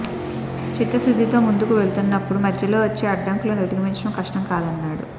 చిత్తశుద్ధితో ముందుకు వెళుతున్నప్పుడు మధ్యలో వచ్చే అడ్డంకులను అధిగమించడం కష్టం కాదన్నాడు